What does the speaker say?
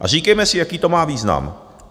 A říkejme si, jaký to má význam.